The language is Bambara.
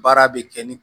Baara bɛ kɛ ni